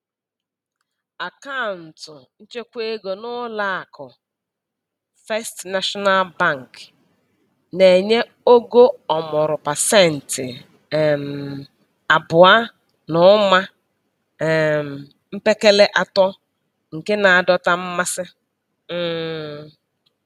Akaụntụ nchekwaego n'ụlọakụ First National Bank na-enye ogo ọmụrụ pasentị um abụọ na ụma um mpekele atọ nke na-adọta mmasị. um